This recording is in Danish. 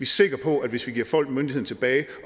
sikre på at hvis vi giver folk myndigheden tilbage